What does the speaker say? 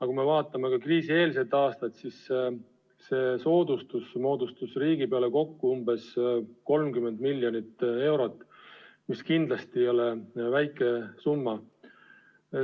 Kui me vaatame kriisieelset aastat, siis see soodustus moodustas riigi peale kokku umbes 30 miljonit eurot, mis kindlasti ei ole väike summa.